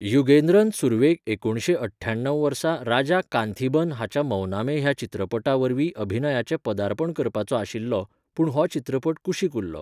युगेन्द्रन सुरवेक एकुणशे अठ्ठ्याणव वर्सा राजा कांथीबन हाच्या मौनामे ह्या चित्रपटा वरवीं अभिनयाचें पदार्पण करपाचो आशिल्लो, पूण हो चित्रपट कुशीक उरलो.